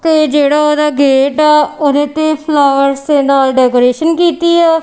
ਤੇ ਜੇਹੜਾ ਓਹਦਾ ਗੇਟ ਹੈ ਓਹਦੇ ਤੇ ਫਲਾਵਰਸ ਦੇ ਨਾਲ ਡੈਕੋਰੇਸ਼ਨ ਕੀਤੀ ਆ।